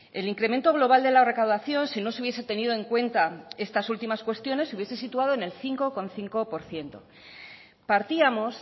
el incremento global de la recaudación si no se hubiese tenido en cuenta estas últimas cuestiones se hubiese situado en el cinco coma cinco por ciento partíamos